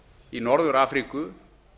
í norður afríku